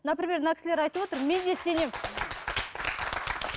например мына кісілер айтып отыр мен де сенемін